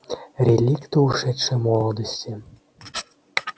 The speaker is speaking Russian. реликты ушедшей молодости